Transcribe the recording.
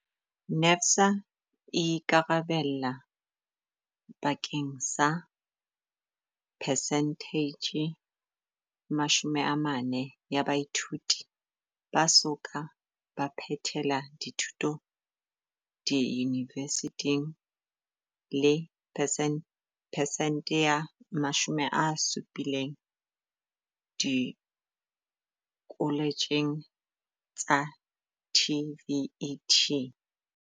NSFAS e ikarabella bakeng sa percentage 40 ya baithuti ba so ka ba phethela dithuto diyunivesithing le percent ya 70 dikoletjheng tsa TVET.